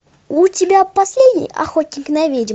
у тебя последний охотник на ведьм